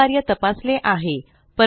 वरील कार्य तपासले आहे